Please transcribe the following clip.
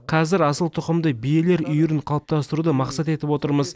қазір асылтұқымды биелер үйірін қалыптастыруды мақсат етіп отырмыз